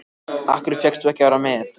Af hverju fékkst þú að vera með